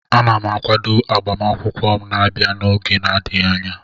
Ana m akwado agbamakwụkwọ m na-abịanụ n'oge na-adịghị anya